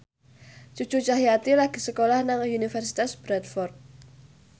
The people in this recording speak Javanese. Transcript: Cucu Cahyati lagi sekolah nang Universitas Bradford